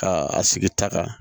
Ka a sigi ta kan